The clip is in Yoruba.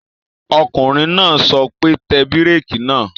Ọkùnrin náà sọ pé, Tẹ bírèkì náà!